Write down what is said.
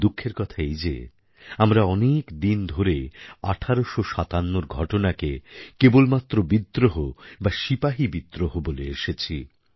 দুঃখের কথা এই যে আমরা অনেক দিন ধরে ১৮৫৭র ঘটনাকে কেবলমাত্র বিদ্রোহ বা সিপাহী বিদ্রোহ বলে এসেছি